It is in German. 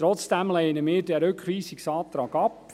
Trotzdem lehnen wir diesen Rückweisungsantrag ab.